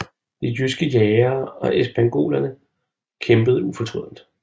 De jydske jægere og espingolerne kæmpede ufortrødent